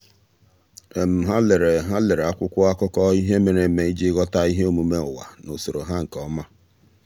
há lèrè há lèrè ákwụ́kwọ́ ákụ́kọ́ ihe mere eme iji ghọ́tá ihe omume ụ́wà na usoro ha nke ọma.